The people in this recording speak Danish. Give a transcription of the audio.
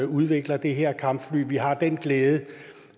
udvikler det her kampfly vi har den glæde